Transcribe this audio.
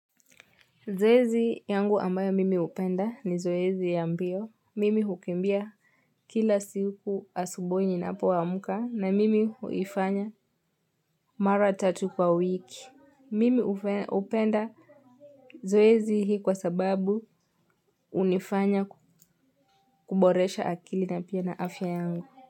Zoezi yangu ambayo mimi hupenda ni zoezi ya mbio. Mimi hukimbia kila siku asubuhi ninapo amka na mimi huifanya mara tatu kwa wiki. Mimi hupenda zoezi hii kwa sababu hunifanya kuboresha akili na pia na afya yangu.